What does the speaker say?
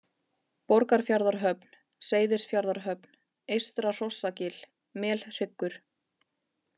Borgarfjarðarhöfn, Seyðisfjarðarhöfn, Eystra-Hrossagil, Melhryggur